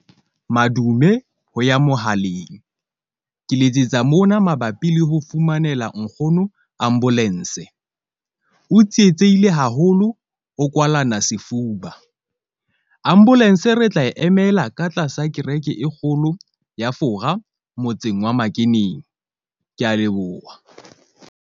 Madume ho ya mohaleng ke letsetsa mona mabapi le ho fumanela nkgono ambulance. O tsietsehile haholo, o kwalana sefuba, ambulance re tla e emela ka tlasa kereke e kgolo ya Fora motseng wa makeneng. Ke a leboha.